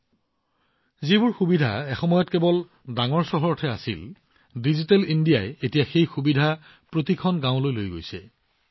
এসময়ত কেৱল এইবোৰ সুবিধা ডাঙৰ চহৰত আছিল ডিজিটেল ইণ্ডিয়াৰ সুবিধাবোৰে এইসমূহ প্ৰতিখন গাঁৱলৈ লৈ গৈছে